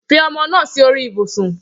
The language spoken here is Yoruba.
Fi ọmọ naa si ori ibusun